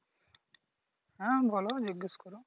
হ্যাঁ বলো জিজ্ঞেস করো?